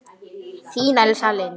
Þín Elsa Lind.